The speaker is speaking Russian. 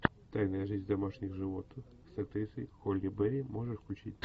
тайная жизнь домашних животных с актрисой холли берри можешь включить